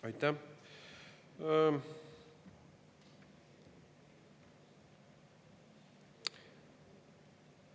Aitäh!